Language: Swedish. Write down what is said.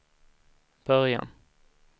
början